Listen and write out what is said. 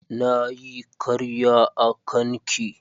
Na yi karya a kan ki.